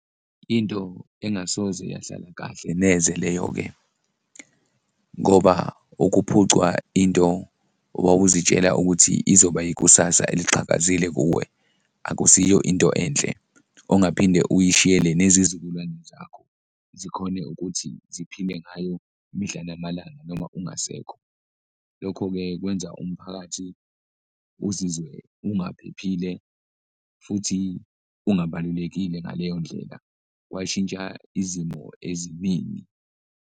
Into engasoze yahlala kahle neze leyo-ke ngoba ukuphucwa into owawuzitshela ukuthi izoba ikusasa eliqhakazile kuwe, akusiyo into enhle ongaphinde uyishiyele nezizukulwane zakho, zikhone ukuthi ziphile ngayo mihla namalanga noma ungasekho. Lokho-ke kwenza umphakathi uzizwe ungaphephile futhi ungabalulekile ngaleyo ndlela, kwashintsha izimo eziningi.